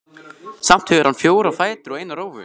Samt hefur hann fjóra fætur og eina rófu.